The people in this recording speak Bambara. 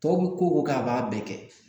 Tɔw bɛ ko o ko a b'a bɛɛ kɛ